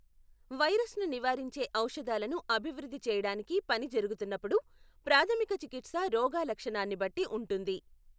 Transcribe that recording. వైరస్ను నివారించే ఔషధాలను అభివృద్ధి చేయడానికి పని జరుగుతున్నప్పుడు, ప్రాథమిక చికిత్స రోగాలక్షణాన్ని బట్టి ఉంటుంది.